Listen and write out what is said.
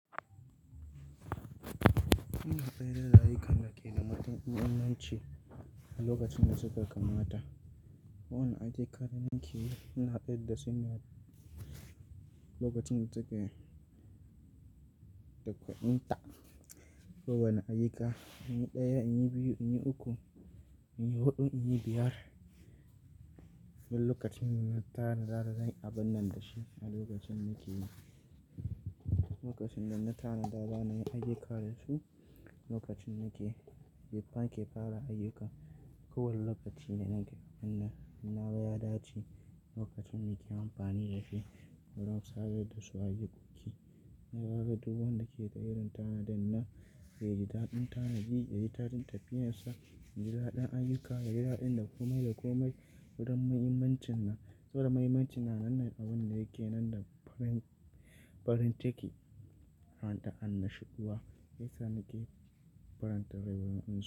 Ina tsayar da rayuka na ke da matuƙi na naci a lokacin da suka kama ta. Kowane ayyuka da nake yi, ina tsayar da su ne a lokacin da suke da kwadinta. Kowani ayyuka, in yi ɗaya, in yi biyu, in yi uku, in yi huɗu, in yi biyar. Don lokacin n'na tara, zai yi abun nan da shi a lokacin da nake yi. Lokacin da n'na tanada, bana yin ayyuka da su. Lokacin da nake, ken ke fara ayyuka. Kowanne lokaci ne nake, in nawa ya dace lokacin me ke amfani da shi. Don sake da su a yankoki. Na zaga duk wanda ke ga irin tanadin na, ya ji daɗin tanadi, ya ji daɗin tafiyar sa, ya ji daɗin ayyukana, ya ji daɗin da komai da komai. Don mahimmancin na, saboda mahimmancina na nan a wannan da yake nan da farin ciki. Da anna shuwa, me ya sa nake farantawa wannan.